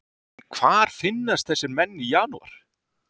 En hvar finnast þessir menn í janúar?